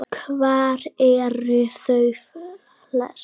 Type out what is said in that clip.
Hvar eru þau helst?